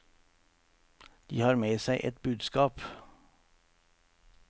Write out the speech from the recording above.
De har med seg et budskap.